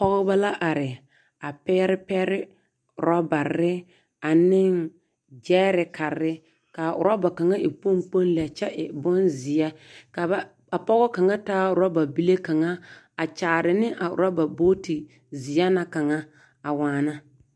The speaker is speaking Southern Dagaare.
Pɔgeba la are, a pɛr pɛre, orɔbarre, aneŋ gyɛɛrekarre, kaa orɔba kaŋa e kpoŋkpoŋ lɛ kyɛ e bonzeɛ ka ba ka pɔge kaŋa taa orɔba bile kaŋa a kyaare ne a oorɔba-booti zeɛ na kaŋa, a waana.